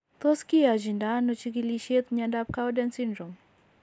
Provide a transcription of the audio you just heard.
Tos kiyachindo ano chigilisiet mnyondo Cowden syndrome ?